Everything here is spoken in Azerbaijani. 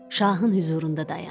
Şahın hüzurunda dayandı.